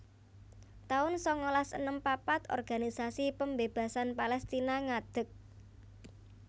taun sangalas enem papat Organisasi Pembebasan Palestina ngadeg